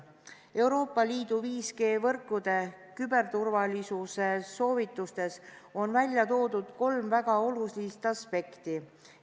Euroopa Liidu 5G-võrkude küberturvalisuse soovitustes on välja toodud kolm väga olulist aspekti.